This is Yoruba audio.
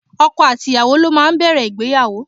Ọkọ àti ìyàwó ló máa ń bẹ̀rẹ̀ ìgbéyàwó.